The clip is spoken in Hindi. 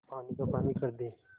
पानी का पानी कर दे